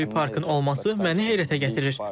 Belə bir böyük parkın olması məni heyrətə gətirir.